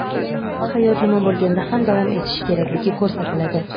hayot nima bo‘lganda ham davom etishi kerakligi ko‘rsatiladi.